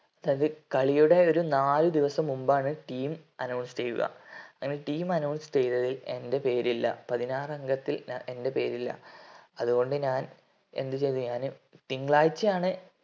അത് കളിയുടെ ഒരു നാല് ദിവസം മുമ്പാണ് team announce ചെയ്യുക അങ്ങനെ team announce ചെയ്തതിൽ എന്റെ പേരില്ല പതിനാറാങ്കത്തിൽ എൻറെ പേരില അതുകൊണ്ടു ഞാൻ എന്ത് ചെയ്തു ഞാൻ തിങ്കളാഴ്ചയാണ്